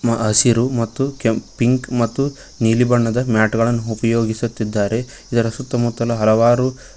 ಮ ಹಸಿರು ಮತ್ತು ಕೆಂಪ್ ಪಿಂಕ್ ಮತ್ತು ನೀಲಿ ಬಣ್ಣದ ಮ್ಯಾಟುಗಳನ್ನು ಉಪಯೋಗಿಸುತ್ತಿದ್ದಾರೆ ಇದರ ಸುತ್ತಮುತ್ತಲು ಹಲವಾರು--